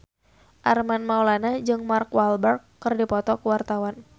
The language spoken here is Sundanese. Armand Maulana jeung Mark Walberg keur dipoto ku wartawan